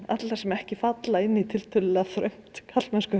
alla sem ekki falla inn í tiltölulega þröngt